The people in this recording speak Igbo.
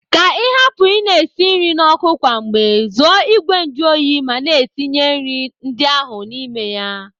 Ka ị hapụ ị na-esi nri n'ọkụ kwa mgbe, zụọ ìgwè njuoyi ma na-etinye nri ndị ahụ n'ime ya.